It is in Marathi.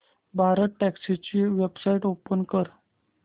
भारतटॅक्सी ची वेबसाइट ओपन कर